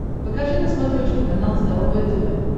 покажи на смотрешке канал здоровое тв